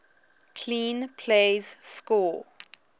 clean plays score